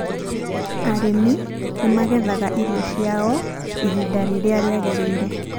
Arĩmi nĩ magethaga irio ciao ihinda rĩrĩa rĩagĩrĩire.